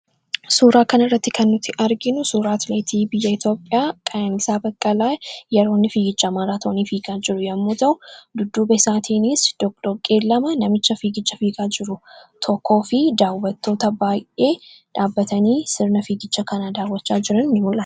Suuraan kun agarsiisa atleetiksii Itoophiyaa yoo ta'u, atileet Qaayenisaa Baqqalaa yeroo fiigicha maraatoonii fiigaa jiru mul'isa. Isaan duubaan atileetii sadarkaa lammataa irratti fiigaa jiruun alatti, daawwattoota baay'ee achitti argaman agarsiisa.